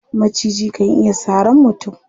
Maciji kan iya sarar mutum.